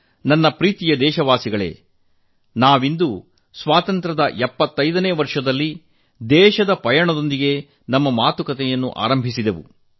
ನನ್ನ ಪ್ರೀಯ ದೇಶವಾಸಿಗಳೇ ಇಂದು ನಾವು 75ನೇ ಸ್ವಾತಂತ್ರೋತ್ಸವದೊಂದಿಗೆ ನಮ್ಮ ಮಾತುಕತೆ ಆರಂಭಿಸಿ ದೇಶದ ಪಯಣ ಮಾಡಿದೆವು